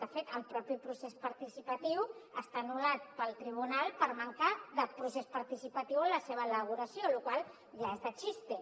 de fet el propi procés participatiu està anul·lat pel tribunal per manca de procés participatiu en la seva elaboració lo qual ja és de chiste